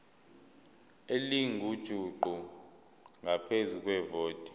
elingujuqu ngaphezu kwevoti